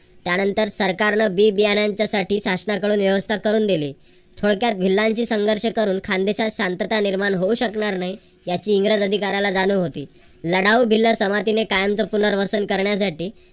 त्यानंतर सरकारने बी बीयांच्यासाठी शासनाकडून व्यवस्था करून दिली. थोडक्यात भिल्लाशी संघर्ष करून खानदेशात शांतता निर्माण होऊ शकणार नाही याची इंग्रज अधिकार्‍याला जाणीव होती. लढाव भिल्ल संमतीने कायमच पुनर्वसन करण्यासाठी